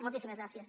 moltíssimes gràcies